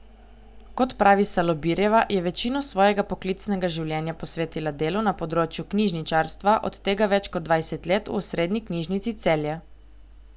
Kot pravi Salobirjeva, je večino svojega poklicnega življenja posvetila delu na področju knjižničarstva, od tega več kot dvajset let v osrednji knjižnici Celje.